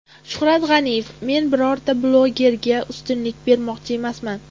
Shuhrat G‘aniyev: Men birorta blogerga ustunlik bermoqchi emasman.